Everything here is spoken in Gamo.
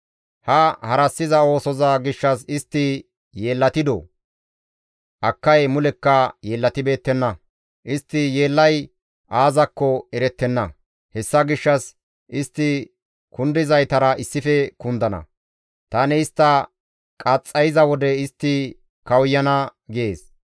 Ha harassiza oosoza gishshas istti yeellatidoo? Akkay mulekka yeellatibeettenna; istti yeellay aazakko erettenna. Hessa gishshas istti kundizaytara issife kundana; tani istta qaxxayiza wode istti kawuyana» gees.